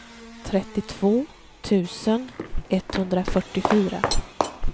trettiotvå tusen etthundrafyrtiofyra